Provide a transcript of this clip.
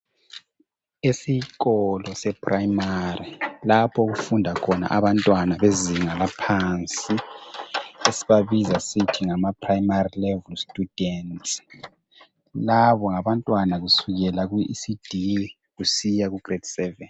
Esikolo se primary lapho okufunda khona abantwana bezinga laphansi esibabiza sisithi ngama primary level students. Labo ngabantwana kusukela ku ECD kusiya ku grade 7.